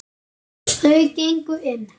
Þau gengu inn.